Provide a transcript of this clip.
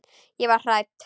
Ég varð hrædd.